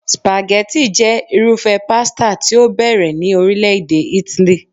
Spaghetti jẹ́ irúfẹ́ pasta tí ó bẹ̀rẹ̀ ní orile-ede Italy